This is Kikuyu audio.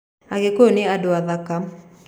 Agĩkũyũ ni andũ athaka.